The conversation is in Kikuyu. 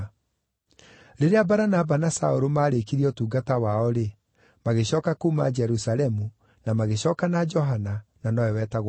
Rĩrĩa Baranaba na Saũlũ maarĩkirie ũtungata wao-rĩ, magĩcooka kuuma Jerusalemu, na magĩcooka na Johana, na nowe wetagwo Mariko.